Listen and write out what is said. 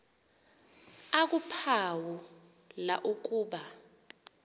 akuphawu la ukuba